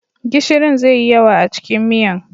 Gishirin zai yi yawa a cikin miyan.